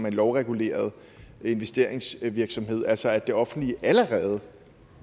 en lovreguleret investeringsvirksomhed eksportkreditfonden altså at det offentlige allerede